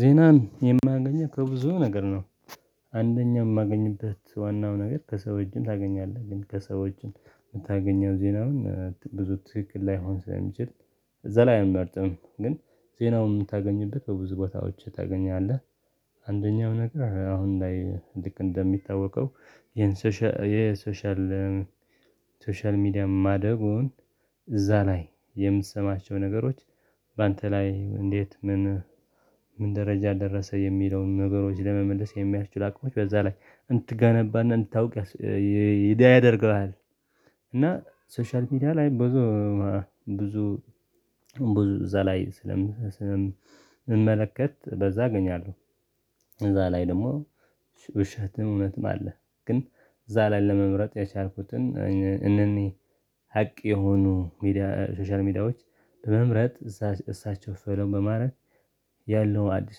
ዜናን የማገኘው ከብዙ ነገር ነው። አንደኛ የማገኝበት ዋናው ነገር ከሰው እጅም ታገኛለህ ግን ከሰዎች የምታገኘው ዜና ግን ብዙ ትክክል ላይሆን ስለሚችል እዛ ላይ አልመርጥም። ግን ዜናውን የምታገኝበት በብዙ ቦታዎች ታገኛለህ። አንደኛው ነገር አሁን ላይ ልክ እንደሚታወቀው ይሄን ሶሻል ሶሻል ሶሻል ሚዲያ ማደጉን እዛ ላይ የምትሰማቸው ነገሮች በአንተ ላይ እንዴት ምን ምን ደረጃ ደረሰ የሚለውን ነገሮች ለመመለስ የሚያስችሉ አቅሞች በዛ ላይ እንድትገነባና እንድታውቅ ያስ ይዳ ያደርግሃል። እና ሶሻል ሚዲያ ላይ ብዙ ብዙ ብዙ እዛ ላይ ስለ ሰለምመለከት በዛ አገኛለሁ። እዛ ላይ ደግሞ ውሸትም እውነትም አለ። ግን እዛ ላይ ለመምረጥ የቻልኩትን እንደኔ ሀቅ የሆኑ ሚዲያ ሶሻል ሚዲያዎች በመምረጥ እሳቸው ፎሎው በማድረግ ያለውን አዲስ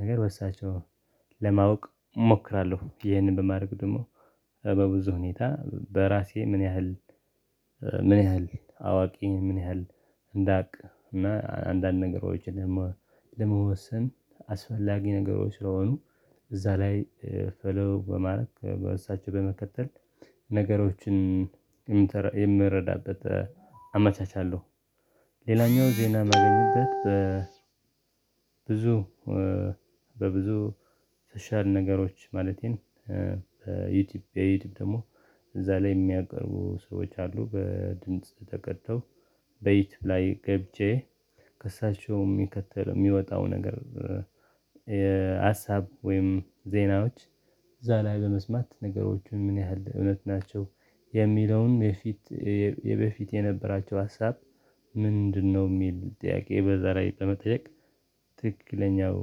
ነገር በእሳቸው ለማወቅ እሞክራለሁ። ይህንን በማድረግ ደግሞ በብዙ ሁኔታ በራሴ ምን ያህል ምን ያህል አዋቂ ምን ያህል እንዳቅ እና አንዳንድ ነገሮችን ደግሞ ለመወሰን አስፈላጊ ነገሮች ስለሆኑ እዛ ላይ ፎሎው በማድረግ በእሳቸው በመከተል ነገሮችን የምረዳበት አመቻቻለሁ። ሌላኛው ዜና ማገኝበት በ ብዙ በብዙ ሶሻል ነገሮች ማለትም የዩቲዩብ ደግሞ እዛ ላይ የሚያቀርቡ ሰዎች አሉ በድምጽ ተቀድቶ በዩቲዩብ ላይ ገብቼ ከሳቸውም የሚከተለው የሚወጣው ነገር። የሀሳብ ወይም ዜናዎች እዛ ላይ በመስማት ነገሮችን ምን ያህል እውነት ናቸው የሚለውን የፊት የበፊት የነበራቸው ሀሳብ ምንድነው የሚል ጥያቄ በዛ ላይ ጠመጠየቅ ትክክለኛው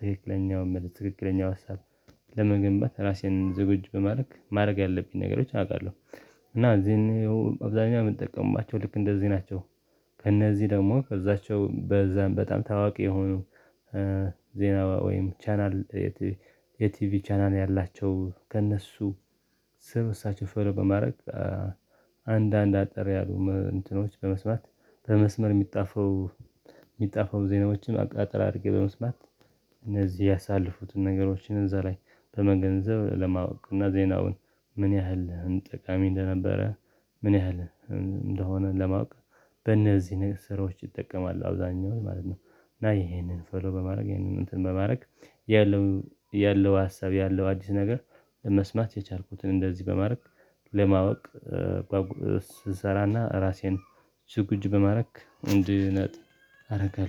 ትክክለኛው መልስ ትክክለኛው ሀሳብ ለመገንባት ራሴን ዝግጁ በማድረግ ማድረግ ያለብኝ ነገሮች አውቃለሁ። እና እዚህን አብዛኛው የምጠቀማቸው ልክ እንደዚህ ናቸው። ከእነዚህ ደግሞ ከዛቸው በዛም በጣም ታዋቂ የሆኑ እ ዜና ወይም ቻናል የቲቪ ቻናል ያላቸው ከእነሱ ስር እሳቸው ፎሎው በማድረግ አንዳንድ አጠር ያሉ እንትኖች በመስማት በመስመር የሚጣፋው የሚጣፋው ዜናዎችን አጠር አድርጌ በመስማት እነዚህ ያሳለፉትን ነገሮችን እዛ ላይ በመገንዘብ ለማወቅ እና ዜናውን ምን ያህል ጠቃሚ እንደነበረ ምን ያህል እንደሆነ ለማወቅ በእነዚህ ነገር ስራዎች ይጠቀማል አብዛኛው ማለት ነው። ና ይሄንን ፎሎ በማድረግ ይሄንን እንትን በማድረግ ያለው ሀሳብ ያለው አዲስ ነገር ለመስማት የቻልኩትን እንደዚህ በማድረግ ለማወቅ እ ስትሰራና ራሴን ዝግጁ በማድረግ እንዲህ ነጥ አደርጋለሁ